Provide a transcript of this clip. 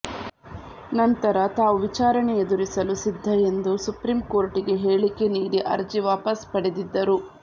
ನಂತರ ತಾವು ವಿಚಾರಣೆ ಎದುರಿಸಲು ಸಿದ್ಧ ಎಂದು ಸುಪ್ರೀಂ ಕೋರ್ಟಿಗೆ ಹೇಳಿಕೆ ನೀಡಿ ಅರ್ಜಿ ವಾಪಸ್ ಪಡೆದಿದ್ದರು